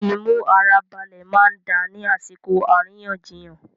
Imu ara balẹ máa n da ni àsìkò àríyànjiyàn.